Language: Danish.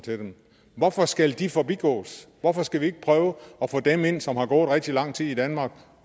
hvorfor skal de forbigås hvorfor skal vi ikke prøve at få dem ind som har gået rigtig lang tid i danmark